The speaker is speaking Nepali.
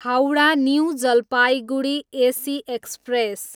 Howrah, new Jalpaiguri AC express